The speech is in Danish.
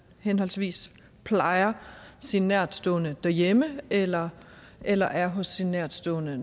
henholdsvis plejer sin nærtstående derhjemme eller eller er hos sin nærtstående